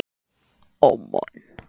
Það gengur kannski betur næst.